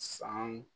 Sanw